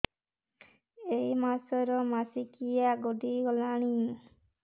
ଏଇ ମାସ ର ମାସିକିଆ ଗଡି ଗଲାଣି